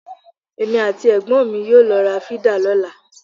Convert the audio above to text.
Èmi àti ẹ̀gbọ́n yóò lọ ra fídà lọ́la.